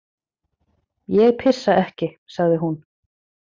Ég pissa ekki, sagði hún.